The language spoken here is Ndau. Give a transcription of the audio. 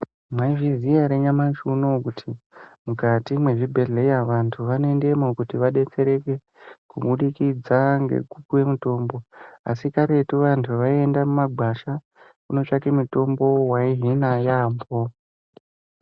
Mwaizviziya ere nyamashi unoo kuti mukati mwezvibhehlera vantu vanoendemwo kuti vadetsereke kubudikidza ngekupiwe mutombo asi karetu vantu vaiende mumagwasha kunotsvake mutombo waihina yaamho.